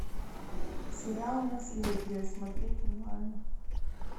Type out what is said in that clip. сериал наследие смотреть онлайн